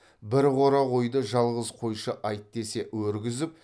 бір қора қойды жалғыз қойшы айт десе өргізіп